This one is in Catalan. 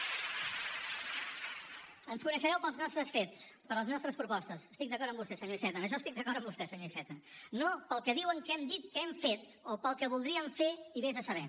ens coneixereu pels nostres fets per les nostres propostes estic d’acord amb vostè senyor iceta en això estic d’acord amb vostè senyor iceta no pel que diuen que hem dit que hem fet o pel que voldríem fer i ves a saber